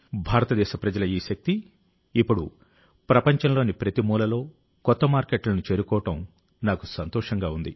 భారతదేశ ప్రజల ఈ శక్తి ఇప్పుడు ప్రపంచంలోని ప్రతిమూలలో కొత్త మార్కెట్లను చేరుకోవడం నాకు సంతోషంగా ఉంది